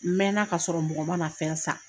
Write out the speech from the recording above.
N mɛɛnna ka sɔrɔ mɔgɔ man na fɛn san.